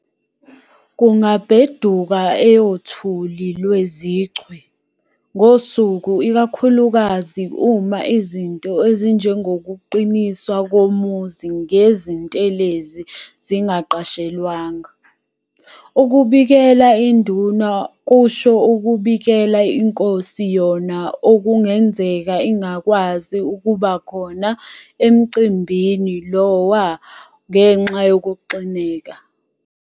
Kungabheduka eyothuli IweziChwe ngosuku ikakhulukazi uma izinto ezinjengokuqiniswa komuzi ngezintelezi zingaqashelwanga. Ukubikela induna kusho ukubikela inkosi yona okungenzeka ingakwazi ukubakhona emcimbini Iowa ngenxa yokuxineka.